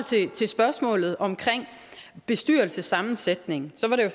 til spørgsmålet om bestyrelsessammensætningen